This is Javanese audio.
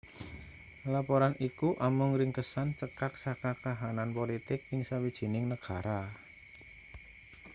laporan iku amung ringkesan cekak saka kahanan politik ing sawijining negara